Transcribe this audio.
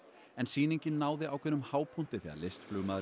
en sýningin náði ákveðnum hápunkti þegar